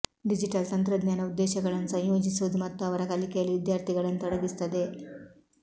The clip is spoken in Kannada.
ಡಿಜಿಟಲ್ ತಂತ್ರಜ್ಞಾನ ಉದ್ದೇಶಗಳನ್ನು ಸಂಯೋಜಿಸುವುದು ಮತ್ತು ಅವರ ಕಲಿಕೆಯಲ್ಲಿ ವಿದ್ಯಾರ್ಥಿಗಳನ್ನು ತೊಡಗಿಸುತ್ತದೆ